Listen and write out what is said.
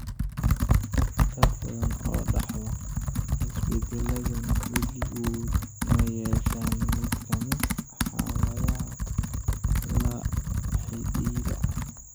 Dad badan oo dhaxla isbeddelladan weligood ma yeeshaan mid ka mid ah xaaladaha la xidhiidha.